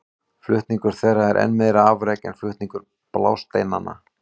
Flutningur þeirra er enn meira afrek en flutningur blásteinanna.